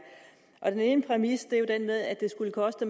en præmis er jo den med at det skulle koste